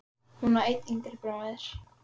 Hún á einn yngri bróður.